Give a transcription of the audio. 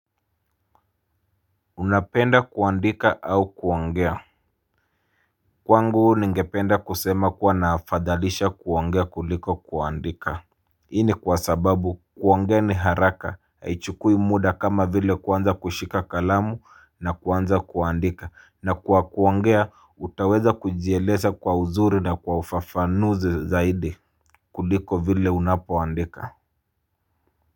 Unapenda kuandika au kuongea. Kwangu ningependa kusema kuwa na afadhalisha kuongea kuliko kuandika. Hii ni kwa sababu kuongea ni haraka haichukui muda kama vile kuanza kushika kalamu na kuanza kuandika na kwa kuongea utaweza kujieleza kwa uzuri na kwa ufafanuzi zaidi kuliko vile unapoandika. Kwa hivyo.